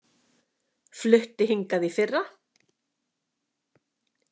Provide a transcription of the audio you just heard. Flutti hingað í fyrra.